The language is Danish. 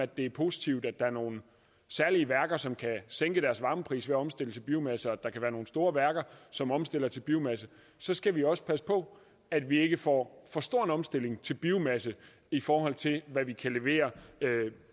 det er positivt at der er nogle særlige værker som kan sænke deres varmepris ved at omstille til biomasse og at der kan være nogle store værker som omstiller til biomasse så skal vi også passe på at vi ikke får for stor en omstilling til biomasse i forhold til hvad vi kan levere